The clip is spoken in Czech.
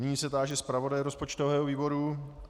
Nyní se táži zpravodaje rozpočtového výboru.